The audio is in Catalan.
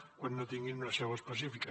quan no tinguin una seu específica